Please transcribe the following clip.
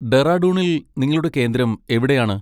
ഡെറാഡൂണിൽ നിങ്ങളുടെ കേന്ദ്രം എവിടെയാണ്?